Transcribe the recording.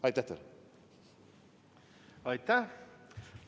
Aitäh!